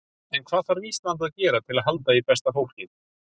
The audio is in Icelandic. En hvað þarf Ísland að gera til að halda í besta fólkið?